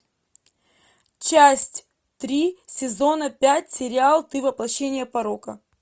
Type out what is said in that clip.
часть три сезона пять сериал ты воплощение порока